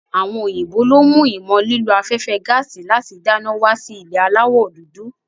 Àwọn òyìnbó lo mú ìmọ̀ ló afẹ́fẹ́ gaàsì láti dáná wá sí ilẹ̀ aláwọ̀ dúdú.